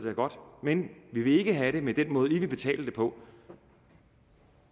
godt men vi vil ikke have det med den måde i vil betale det på